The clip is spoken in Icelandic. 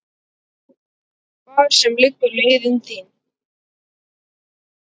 Hvar sem liggur leiðin þín.